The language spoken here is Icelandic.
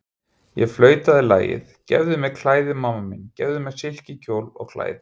Ég flautaði lagið, gefðu mér klæði, mamma mín, gefðu mér silkikjól og klæði.